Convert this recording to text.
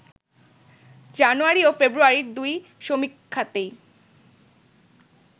জানুয়ারি ও ফেব্রুয়ারির দুই সমীক্ষাতেই